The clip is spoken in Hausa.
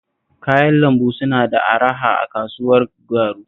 Kayan lambu suna da araha a kasuwar Garu